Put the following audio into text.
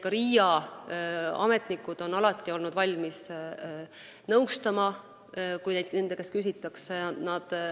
Ka RIA ametnikud on alati olnud valmis nõustama, kui nende käest küsitakse.